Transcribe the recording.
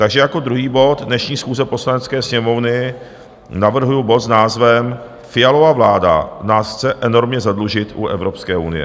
Takže jako druhý bod dnešní schůze Poslanecké sněmovny navrhuji bod s názvem Fialova vláda nás chce enormně zadlužit u Evropské unie.